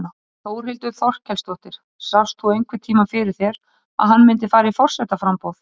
Þórhildur Þorkelsdóttir: Sást þú einhvern tímann fyrir þér að hann myndi fara í forsetaframboð?